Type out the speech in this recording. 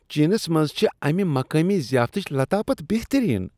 Chances منٛز چھ امہ مقٲمی زیافتچِہ لتافت بہترین ۔